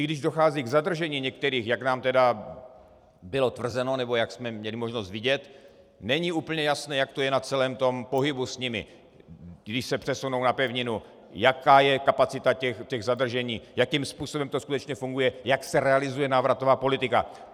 I když dochází k zadržení některých, jak nám tedy bylo tvrzeno, nebo jak jsme měli možnost vidět, není úplně jasné, jak to je na celém tom pohybu s nimi, když se přesunou na pevninu, jaká je kapacita těch zadržení, jakým způsobem to skutečně funguje, jak se realizuje návratová politika.